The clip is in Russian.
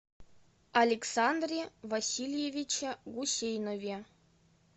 александре васильевиче гусейнове